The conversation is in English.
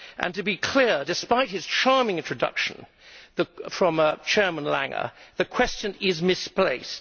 To be clear, despite the charming introduction from Chairman Langer, the question is misplaced.